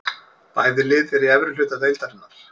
Bæði lið eru í efri hluta deildarinnar.